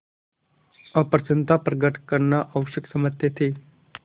अप्रसन्नता प्रकट करना आवश्यक समझते थे